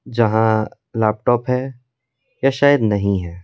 जहां लैपटॉप है या शायद नहीं है।